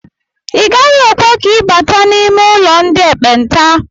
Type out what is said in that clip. Agaghị ekwe ka ị bata n'ime ụlọ ndị ekpenta